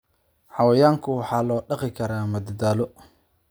Xayawaanka waxaa loo dhaqi karaa madadaalo.